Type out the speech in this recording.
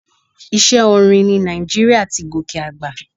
Iṣẹ́ orin ní Nàìjíríà ti gòkè àgbà.